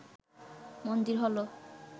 মন্দির হল